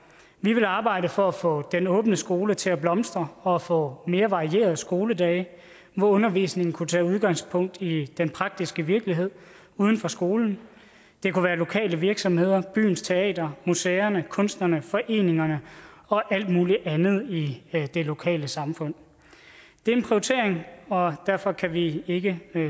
vi ville arbejde for at få den åbne skole til at blomstre for at få mere varierede skoledage hvor undervisningen kunne tage udgangspunkt i den praktiske virkelighed uden for skolen det kunne være lokale virksomheder byens teater museer kunstnere foreninger og alt muligt andet i det lokale samfund det er en prioritering og derfor kan vi ikke